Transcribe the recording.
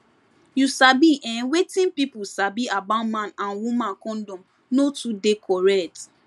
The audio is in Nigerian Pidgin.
you sabi ehnwetin pipu sabi about man and woman condom no too dey correct